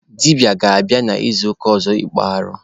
Dibịa ga-abịa n'izuụka ọzọ ịkpụ arụ.